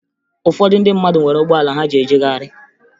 Ụfọdụ ndị mmadụ nwere ụgbọala ha ji ejegharị